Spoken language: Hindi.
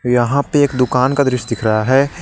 यहां पे एक दुकान का दृश्य दिख रहा है।